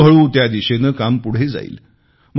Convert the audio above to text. हळुहळू त्या दिशेने काम पुढे जाईल